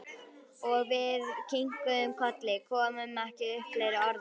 Og við kinkuðum kolli, komum ekki upp fleiri orðum.